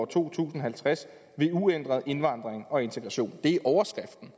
to tusind og halvtreds ved uændret indvandring og integration det er overskriften